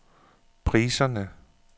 priserne